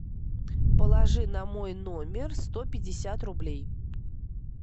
положи на мой номер сто пятьдесят рублей